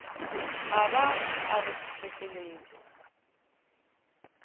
a ba a rothiša keledi